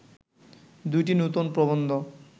দুইটি নূতন প্রবন্ধ